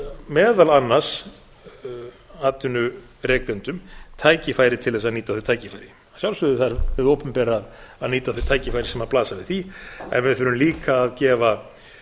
meðal annars atvinnurekendum tækifæri til þess að nýta þau tækifæri að sjálfsögðu þarf hið opinbera að nýta þau tækifæri sem blasa við því en við þurfum líka að gefa